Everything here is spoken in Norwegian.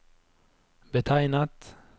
betegnet